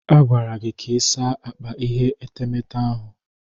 A gwara gị ka ịsa akpa ihe etemeete ahụ.